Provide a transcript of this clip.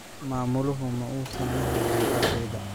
Maamuluhu ma uusan la hadlin ardayda.